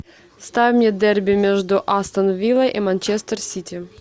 ставь мне дерби между астон виллой и манчестер сити